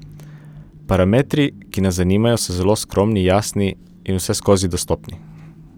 Parametri, ki nas zanimajo, so zelo skromni, jasni in vseskozi dostopni.